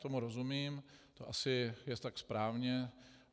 Tomu rozumím, to je asi tak správně.